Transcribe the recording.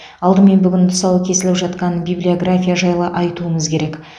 алдымен бүгін тұсауы кесіліп жатқан библиография жайлы айтуымыз керек